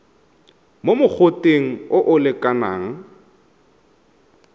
mo mogoteng o o lekanang